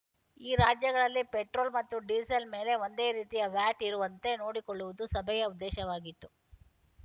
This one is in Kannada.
ಈ ರಾಜ್ಯಗಳಲ್ಲಿ ಪೆಟ್ರೋಲ್‌ ಮತ್ತು ಡೀಸೆಲ್‌ ಮೇಲೆ ಒಂದೇ ರೀತಿಯ ವ್ಯಾಟ್‌ ಇರುವಂತೆ ನೋಡಿಕೊಳ್ಳುವುದು ಸಭೆಯ ಉದ್ದೇಶವಾಗಿತ್ತು